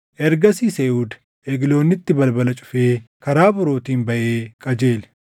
Ergasiis Eehuud Egloonitti balbala cufee karaa borootiin baʼee qajeele.